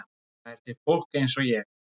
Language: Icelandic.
Það er til fólk eins og ég.